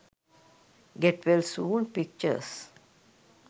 get well soon pictures